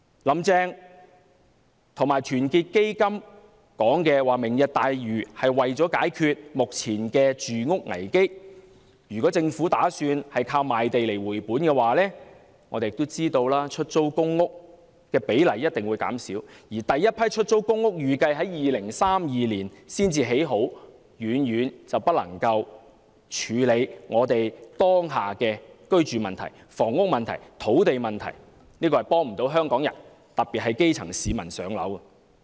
"林鄭"和團結香港基金指出，"明日大嶼"是為了解決目前的住屋危機，但如果政府打算以賣地來回本，我們也知道出租公屋的比例一定會減少，而第一批出租公屋預計在2032年才落成，遠遠不能處理香港當下的居住問題、房屋問題、土地問題，因此這計劃未能幫助香港人，特別是基層市民"上樓"。